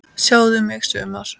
Sjáðu mig sumar!